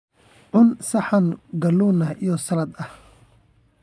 Cun saxan kalluun iyo salad ah.